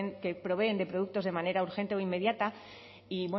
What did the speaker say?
que proveen de productos de manera urgente o inmediata y